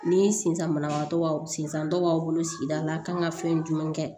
Ni sensanbagatɔ b'a sen san tɔ b'aw bolo sigida la a kan ka fɛn jumɛn kɛ